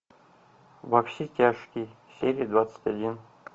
во все тяжкие серия двадцать один